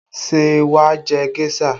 Ṣé wà á jẹ géṣà?